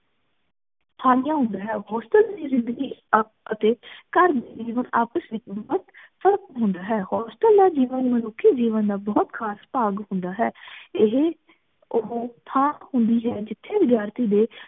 hostel ਦੀ ਜਿੰਦਗੀ ਅਤੇ ਘਰ ਆਪਸ ਵਿੱਚ ਬੋਹਤ ਫ਼ਰਕ ਹੁੰਦਾ ਹੈ hostel ਦਾ ਜੀਵਨ ਮਨੁਖੀ ਜੀਵਨ ਦਾ ਬੋਹਤ ਖਾਸ ਭਾਗ ਹੁੰਦਾ ਹੈ ਏਹੇ ਓਹੋ ਥਾਂ ਹੁੰਦੀ ਹੈ ਜਿਥੇ ਵਿਦਿਆਰਥੀ ਦੇ